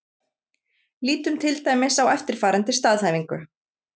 Lítum til dæmis á eftirfarandi staðhæfingu: